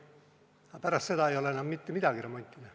Aga pärast seda ei ole enam mitte midagi remontida.